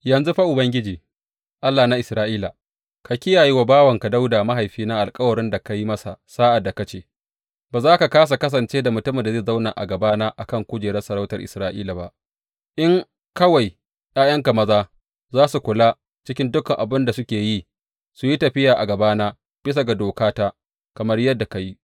Yanzu fa Ubangiji, Allah na Isra’ila, ka kiyaye wa bawanka Dawuda mahaifina alkawuran da ka yi masa sa’ad da ka ce, Ba za ka kāsa kasance da mutumin da zai zauna a gabana a kan kujerar sarautar Isra’ila ba, in kawai ’ya’yanka maza za su kula cikin dukan abin da suke yi su yi tafiya a gabana bisa ga dokata, kamar yadda ka yi.’